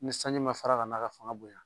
Ni sanji ma fara kana k'a fanga bonya